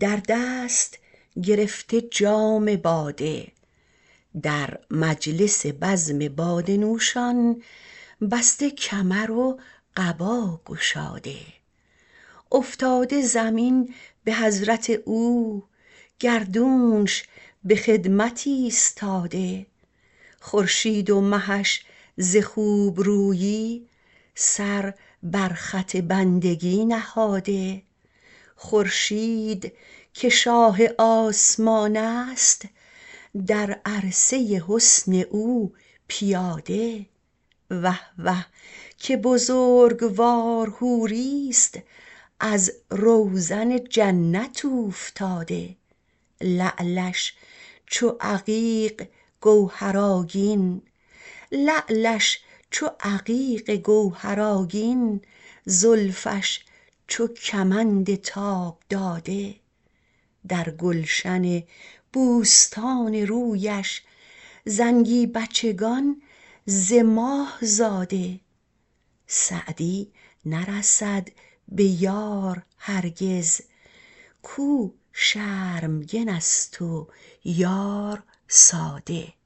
در دست گرفته جام باده در مجلس بزم باده نوشان بسته کمر و قبا گشاده افتاده زمین به حضرت او گردونش به خدمت ایستاده خورشید و مهش ز خوبرویی سر بر خط بندگی نهاده خورشید که شاه آسمان است در عرصه حسن او پیاده وه وه که بزرگوار حوریست از روزن جنت اوفتاده لعلش چو عقیق گوهرآگین زلفش چو کمند تاب داده در گلشن بوستان رویش زنگی بچگان ز ماه زاده سعدی نرسد به یار هرگز کاو شرمگن است و یار ساده